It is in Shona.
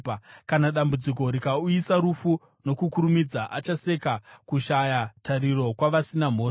Kana dambudziko rikauyisa rufu nokukurumidza, achaseka kushaya tariro kwavasina mhosva.